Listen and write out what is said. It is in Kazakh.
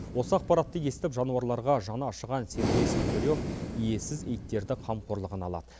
осы ақпаратты естіп жануарларға жаны ашыған сергей снегирёв иесіз иттерді қамқорлығына алады